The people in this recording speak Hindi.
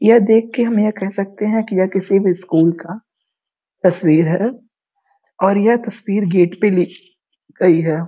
यह देख के हम यह कह सकते है कि यह किसी भी स्कूल का तस्वीर है और यह तस्वीर गेट पे ली गयी है।